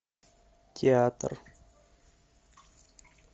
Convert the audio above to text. театр